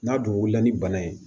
N'a dun wulila ni bana ye